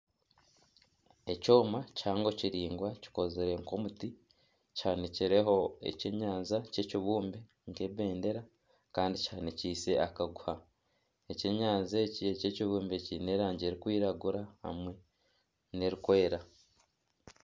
Ekyoma kihango kiringwa kikozire nka omuti kihanikireho ekyenyanja kyekibumbe nka ebendera kandi kihanikiise akaguha. Ekyenyanja eki ekyekibumbe kiine erangi erikwiragura hamwe nerikwera.